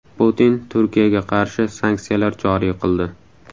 Putin Turkiyaga qarshi sanksiyalar joriy qildi.